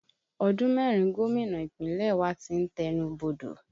Ọdún mẹ́rin gómìnà Ìpínlẹ̀ wa tí ń tẹnu bodò